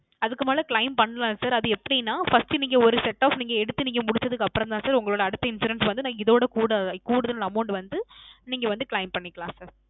அதுக்கு மேல Claim பண்ணலாம் Sir அது எப்படின First நீங்க ஒரு Set of நீங்க எடுத்து முடுச்சதுக்கு அப்புறம் தான் Sir உங்களோட அடுத்த Insurance வந்து இதவிட கூட கூடுதல் Amount வந்து நீங்க Claim பண்ணிக்கலாம் Sir